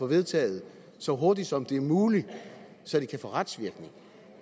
vedtaget så hurtigt som det er muligt så de kan få retsvirkning